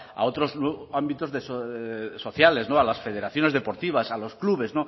a otros ámbitos sociales a las federaciones deportivas a los clubes